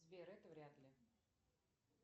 сбер это вряд ли